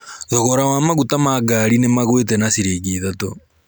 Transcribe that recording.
Thogora wa maguta ma ngari nĩmagũĩte na ciringi ithatũ.